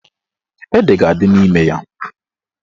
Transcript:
Ede ga-adị n'ime ya.